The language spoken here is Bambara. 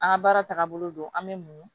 An ka baara taaga bolo an bɛ muɲu